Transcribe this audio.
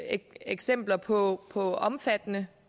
eksempler på på omfattende